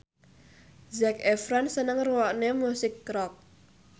Zac Efron seneng ngrungokne musik rock